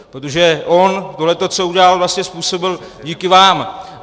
Protože on tohle, co udělal, vlastně způsobil díky vám.